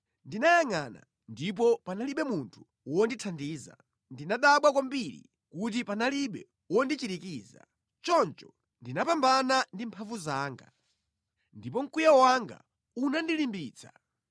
Ndinayangʼana ndipo panalibe munthu wondithandiza. Ndinadabwa kwambiri kuti panalibe wondichirikiza; choncho ndinapambana ndi mphamvu zanga, ndipo mkwiyo wanga unandilimbitsa.